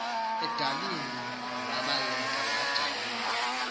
edabini wabaleka wajiya